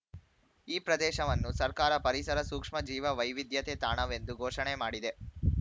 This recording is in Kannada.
ಈ ಪ್ರದೇಶವನ್ನು ಸರ್ಕಾರ ಪರಿಸರ ಸೂಕ್ಷ್ಮ ಜೀವ ವೈವಿಧ್ಯತೆ ತಾಣವೆಂದು ಘೋಷಣೆ ಮಾಡಿದೆ